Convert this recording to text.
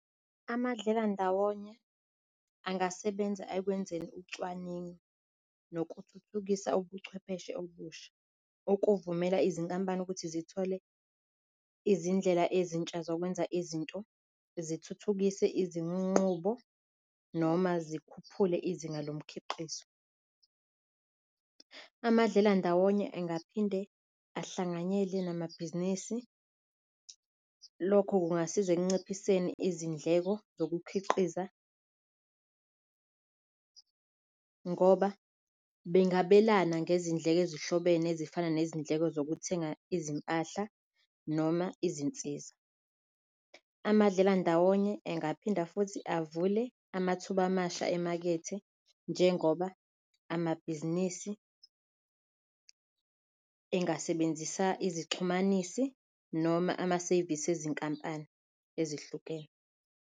Amadlelandawonye angasebenza ekwenzeni ucwaningo nokuthuthukisa ubuchwepheshe obusha okuvumela izinkampani ukuthi zithole izindlela ezintsha zokwenza izinto zithuthukise izinqubo noma zikhuphule izinga lomkhiqizo. Amadlelandawonye engaphinde ahlanganyele namabhizinisi, lokho kungasiza ekunciphiseni izindleko zokukhiqiza ngoba bengabelana ngezindleko ezihlobene ezifana nezindleko zokuthenga izimpahla noma izinsiza. Amadlelandawonye engaphinde futhi avule amathuba amasha emakethe njengoba amabhizinisi engasebenzisa izixhumanisi noma amasevisi ezinkampani ezihlukene.